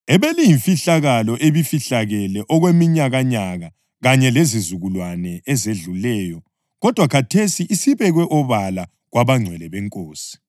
ebeliyimfihlakalo ebifihlakele okweminyakanyaka kanye lezizukulwane ezedluleyo kodwa khathesi isibekwe obala kwabangcwele beNkosi.